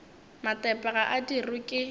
matepe ga a dirwe ke